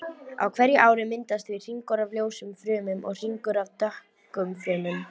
Á hverju ári myndast því hringur af ljósum frumum og hringur af dökkum frumum.